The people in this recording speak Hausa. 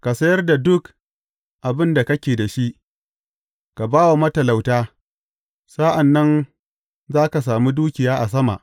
Ka sayar da duk abin da kake da shi, ka ba wa matalauta, sa’an nan za ka sami dukiya a sama.